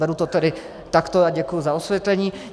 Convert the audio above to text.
Beru to tedy takto a děkuji za osvětlení.